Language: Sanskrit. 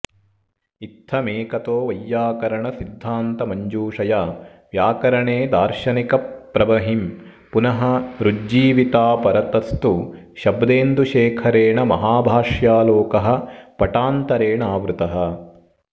इत्थमेकतो वैयाकरणसिद्धान्तमञ्जूषया व्याकरणे दार्शनिकप्रबंहिँः पुनः रुज्जीविताऽपरतस्तु शब्देन्दुशेखरेण महाभाष्यालोकः पटान्तरेणावृतः